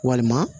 Walima